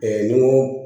ni ko